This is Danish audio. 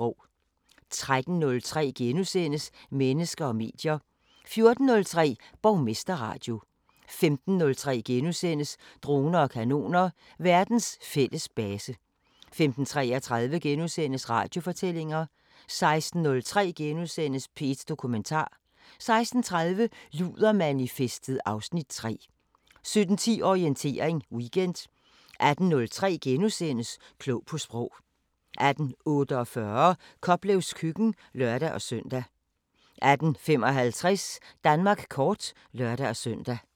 13:03: Mennesker og medier * 14:03: Borgmesterradio 15:03: Droner og kanoner: Verdens fælles base * 15:33: Radiofortællinger * 16:03: P1 Dokumentar * 16:30: Ludermanifestet (Afs. 3) 17:10: Orientering Weekend 18:03: Klog på Sprog * 18:48: Koplevs Køkken (lør-søn) 18:55: Danmark kort (lør-søn)